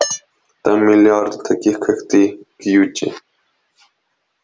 там миллиарды таких как ты кьюти